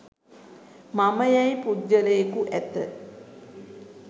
මම යැයි පුද්ගලයෙකු ඇත.